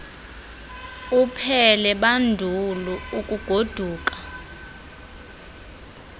uphele bandulu ukugoduka